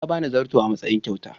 Kawuna ya ba ni zarto a matsayin kyauta.